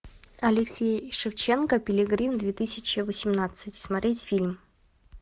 алексей шевченко пилигрим две тысячи восемнадцать смотреть фильм